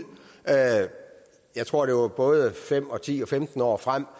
jeg tror at det var både fem og ti og femten år frem